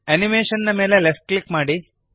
animation ನ ಮೇಲೆ left click ಮಾಡಿರಿ